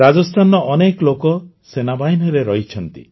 ରାଜସ୍ଥାନର ଅନେକ ଲୋକ ସେନାବାହିନୀରେ ରହିଛନ୍ତି